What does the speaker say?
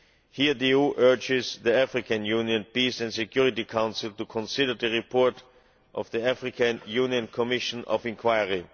Here the EU urges the African Union Peace and Security Council to consider the report of the African Union Commission of Inquiry.